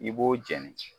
I b'o jeni